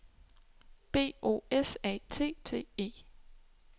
B O S A T T E